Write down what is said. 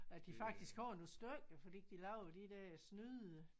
At de faktisk har nogle stykker fordi de laver jo de der snyde